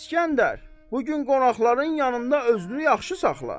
İsgəndər, bu gün qonaqların yanında özünü yaxşı saxla.